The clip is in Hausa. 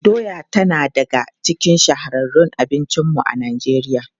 Doya tana daga cikin shahararrun abincinmu a Najeriya.